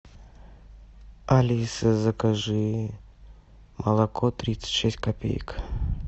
алиса закажи молоко тридцать шесть копеек